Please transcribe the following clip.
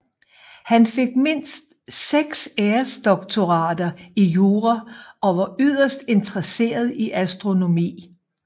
Han fik mindst seks æresdoktorater i jura og var yderst interesseret i astronomi